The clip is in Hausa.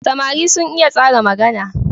Samari sun iya tsara magana.